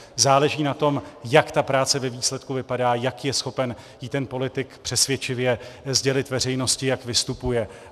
Záleží na tom, jak ta práce ve výsledku vypadá, jak je schopen ji ten politik přesvědčivě sdělit veřejnosti, jak vystupuje.